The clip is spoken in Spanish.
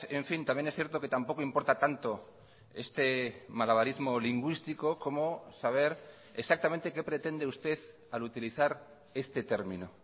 en fin también es cierto que tampoco importa tanto este malabarismo lingüístico como saber exactamente qué pretende usted al utilizar este término